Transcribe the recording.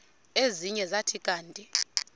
ezinye zathi kanti